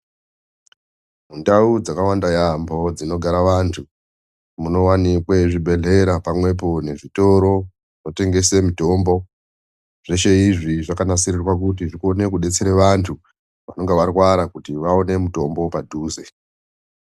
Ndau dzakawanda yaambo dzinogara vanthu munowanikwa zvibhedhlera pamwepo nezvitoro zvinotengese mitombo zveshe izvi zvakanasirirwa kuti zvione kudetsera vanthu vanenge varwara kuti vaone mutombo padhuze.